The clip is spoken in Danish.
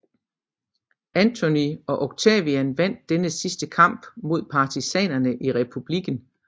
Antony og Octavian vandt denne sidste kamp mod partisanerne i republikken